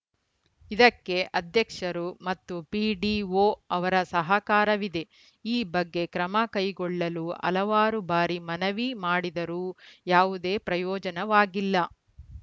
ಇದಕ್ಕೆ ಅಧ್ಯಕ್ಷರು ಮತ್ತು ಪಿಡಿಒ ಅವರ ಸಹಕಾರವಿದೆ ಈ ಬಗ್ಗೆ ಕ್ರಮಕೈಗೊಳ್ಳಲು ಹಲವಾರು ಬಾರಿ ಮನವಿ ಮಾಡಿದರೂ ಯಾವುದೇ ಪ್ರಯೋಜನವಾಗಿಲ್ಲ